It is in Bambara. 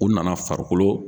U nana farikolo